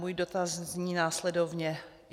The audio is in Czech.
Můj dotaz zní následovně.